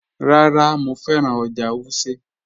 Rárá, Mọ fẹ́ran ọ́jà̀ Wùsẹ́.